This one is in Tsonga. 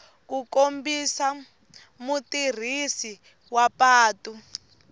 ku kombisa mutirhisi wa patu